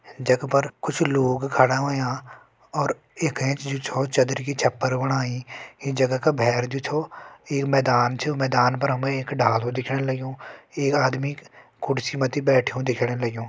जख पर कुछ लोग खड़ा होयां और यख एंच जु छो चदरि की छप्पर बणयूं इ जगह का भेर जु छो एक मैदान च मैदान पर हमें एक डालु दिखण लग्युं एक आदमी कुर्सी मथि बैठ्युं दिखण लग्युं।